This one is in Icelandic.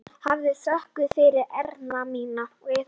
Hafðu þökk fyrir, Erna mín.